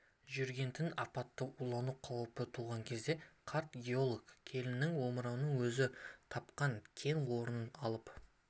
жүрген-тін апаттан улану қаупі туған кезде қарт геолог келінінің омырауына өзі тапқан кен орнынан алып